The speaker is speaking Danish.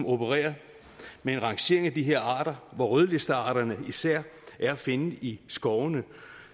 opererer med en rangering af de her arter af rødlistearterne især er at finde i skovene